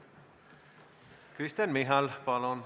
Kristen Michal, palun!